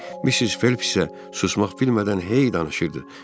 Missis Felpis isə susmaq bilmədən hey danışırdı.